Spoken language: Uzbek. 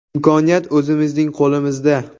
Imkoniyat o‘zimizning qo‘limizda.